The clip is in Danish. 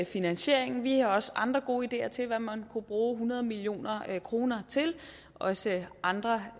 finansieringen vi har også andre gode ideer til hvad man kunne bruge hundrede million kroner til også andre